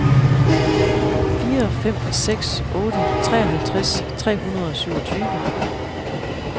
fire fem seks otte treoghalvtreds tre hundrede og syvogtyve